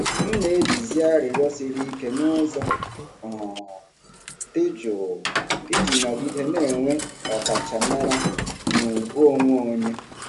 M na-ejizi arịrịọ siri ike n’ụzọ um dị jụụ iji nọgide na-enwe ọkachamara na ugwu onwe onye.